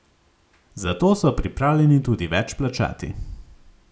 Za to so pripravljeni tudi več plačati.